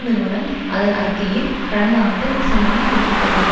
நிறுவனம் அதன் அறிக்கையில் கடந்த ஆண்டு டிசம்பரில் குறிப்பிட்டது